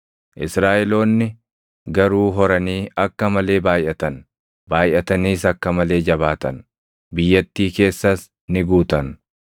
Israaʼeloonni garuu horanii akka malee baayʼatan; baayʼataniis akka malee jabaatan; biyyattii keessas ni guutan.